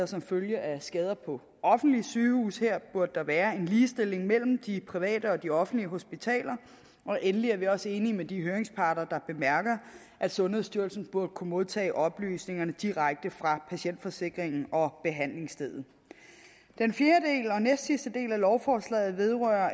som følge af skader på offentlige sygehuse her burde der være en ligestilling mellem de private og de offentlige hospitaler og endelig er vi også enige med de høringsparter der bemærker at sundhedsstyrelsen burde kunne modtage oplysningerne direkte fra patientforsikringen og behandlingsstedet den fjerde og næstsidste del af lovforslaget vedrører